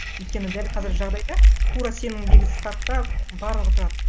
өйткені дәл қазір жағдайда тура сендегі стартта барлығы тұрады